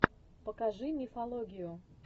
покажи мифологию